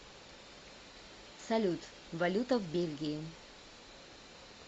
салют валюта в бельгии